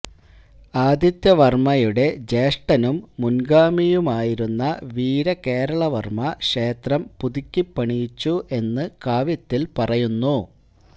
ആദിത്യവർമയുടെ ജ്യേഷ്ഠനും മുൻഗാമിയുമായിരുന്ന വീരകേളവർമ ക്ഷേത്രം പുതുക്കിപ്പണിയിച്ചു എന്ന് കാവ്യത്തിൽ പറയുന്നു